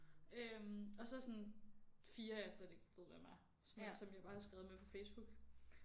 Øh og så sådan 4 jeg slet ikke ved hvem er men som jeg bare har skrevet med på Facebook